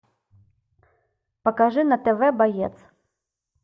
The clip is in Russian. покажи на тв боец